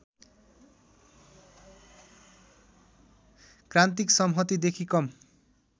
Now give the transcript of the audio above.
क्रान्तिक सम्हतिदेखि कम